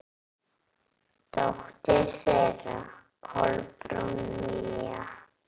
Dóttir þeirra: Kolbrún Mía.